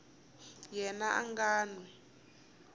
yena a nga n wi